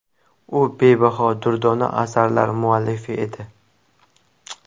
U bebaho durdona asarlar muallifi edi.